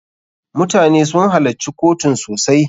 MUtane sun halacci kotun sosai.